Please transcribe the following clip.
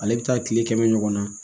Ale bɛ taa kile kɛmɛ ɲɔgɔn na